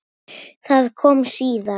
Það kom síðar.